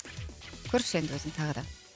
көрші енді өзің тағы да